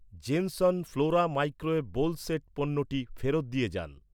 Jenson Flora microwave bowl set পণ্যটি ফেরত দিয়ে যান।